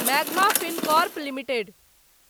magma Fincorp limited